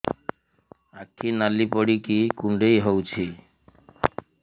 ଆଖି ନାଲି ପଡିକି କୁଣ୍ଡେଇ ହଉଛି